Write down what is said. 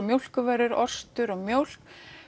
mjólkurvörur ostur og mjólk